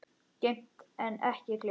Geymt en ekki gleymt